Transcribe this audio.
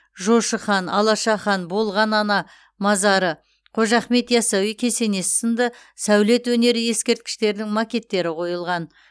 жошы хан алаша хан болған ана мазары қожа ахмет ясауи кесенесі сынды сәулет өнері ескерткіштерінің макеттері қойылды